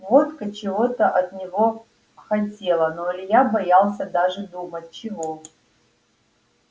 водка чего-то от него хотела но илья боялся даже думать чего